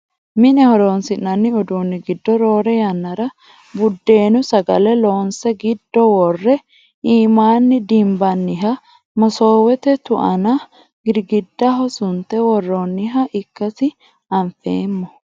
Mine horonsi'nanni uduunni giddo roore yannara buddeenu sagale loonse giddo worre iimaanni dinbanniha masoowete tu"ana girgiddaho sunte worroonniha ikkasi anfeemmo